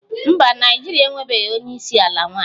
Mba, Naịjirịa enwebeghị onye isi ala nwanyị